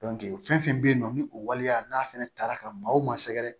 fɛn fɛn bɛ yen nɔ ni o waleya n'a fana tara ka maa o maa sɛgɛrɛ